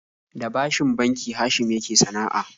Da bashin banki Hashim yake sana'a